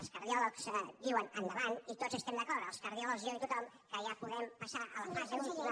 els cardiòlegs diuen endavant i tots estem d’acord els cardiòlegs jo i tothom que ja podem passar a la fase última